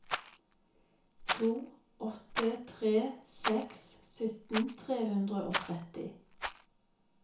to åtte tre seks sytten tre hundre og tretti